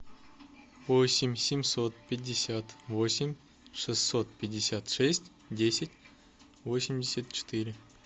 восемь семьсот пятьдесят восемь шестьсот пятьдесят шесть десять восемьдесят четыре